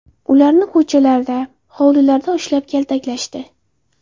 Ularni ko‘chalarda, hovlilarda ushlab, kaltaklashdi.